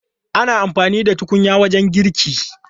Ana amfani da tukunya wajen girki.